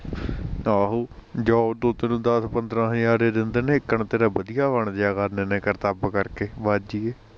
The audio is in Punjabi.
ਆਹੋ job ਤੋਂ ਤੇਨੂੰ ਦੱਸ ਪੰਦਰਾਂ ਹਜ਼ਾਰ ਐ ਦਿਦੇ ਨੇ ਏਕਣ ਤੇਰਾ ਵਧੀਆ ਬਣਜਿਆ ਕਰਨੇ ਨੇ ਕਰਤਵ ਕਰਕੇ ਬਾਜੀਏ